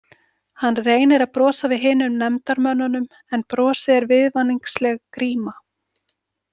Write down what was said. Hann reynir að brosa við hinum nefndarmönnunum en brosið er viðvaningsleg gríma.